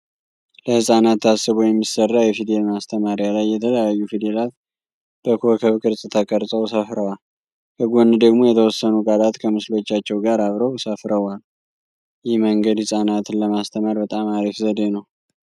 ለህጻናት ታስቦ የሚሰራ የፊደል ማስተማሪያ ላይ የተለያዩ ፊደላት በኮከብ ቅርጽ ተቀርጸው ሰፍረዋል። ከጎን ደግሞ የተወሰኑ ቃላት ከምስሎቻቸው ጋር አብረው ሰፍረውዋል። ይህ መንገድ ህጻናትን ለማስተማር በጣም አሪፍ ዘዴ ነው።